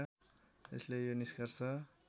यसले यो निष्कर्ष